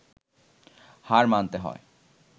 হার মানতে হয়